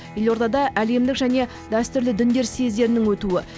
елордада әлемдік және дәстүрлі діндер съездерінің өтуі